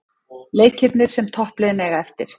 Leikirnir sem toppliðin eiga eftir